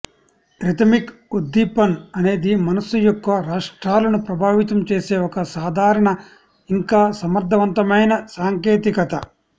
rhythmic ఉద్దీపన అనేది మనస్సు యొక్క రాష్ట్రాలను ప్రభావితం చేసే ఒక సాధారణ ఇంకా సమర్థవంతమైన సాంకేతికత